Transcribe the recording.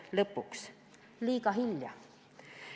See on liiga hilja.